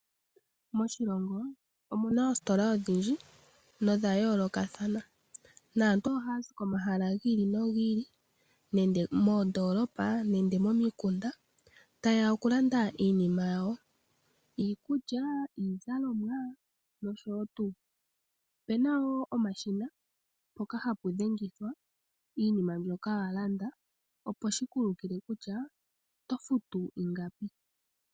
Moshilongo kehe omu na oositola odhindji na odha yoolokathana. Aantu ohaa zi komahala gi ili nogi ili ngaashi moondoolopa nosho woo momikunda ta ye ya okulanda iinima yawo ngaashi iikulya, iizalomwa nosho tuu. Opu na woo omashina mpoka hapu dhengithwa iinima mbyoka wa landa opo wu mone kutya oto futu ingapi.